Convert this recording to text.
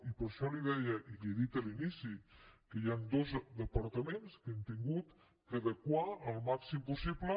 i per això li deia i li ho he dit a l’inici que hi han dos departaments que hem hagut d’adequar el màxim possible